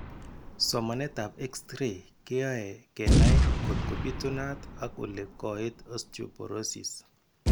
Somanetab x-ray keyoa kenai kotko bitunat ak ole koit osteoporosis.